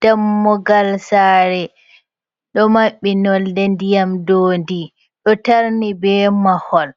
Dammugal sare ɗo mabɓi nolɗe ndiyam ɗodi do tarni be mahol